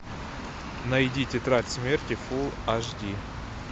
найди тетрадь смерти фулл аш ди